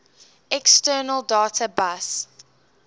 external data bus